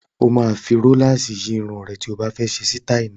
O máa fi róláàsì yí irun rẹ tí o bá fẹ́ ṣe sítáì náà.